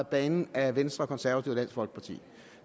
banen af venstre og konservative og folkeparti